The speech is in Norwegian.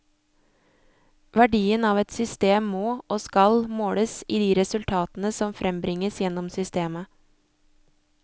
Verdien av et system må, og skal, måles i de resultatene som frembringes gjennom systemet.